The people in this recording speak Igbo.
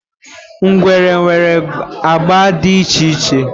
Ngwere nwere agba dị iche iche.